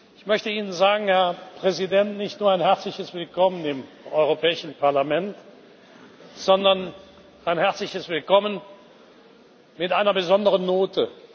Ich möchte Ihnen, Herr Präsident, nicht nur ein herzliches Willkommen im Europäischen Parlament sagen, sondern ein herzliches Willkommen mit einer besonderen Note.